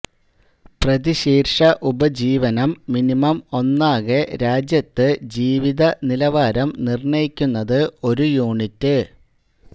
പ്രതിശീർഷ ഉപജീവനം മിനിമം ഒന്നാകെ രാജ്യത്ത് ജീവിത നിലവാരം നിർണയിക്കുന്നത് ഒരു യൂണിറ്റ്